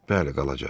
Bəli, qalacaq.